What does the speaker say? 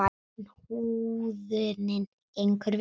Utan húðunin gengur vel.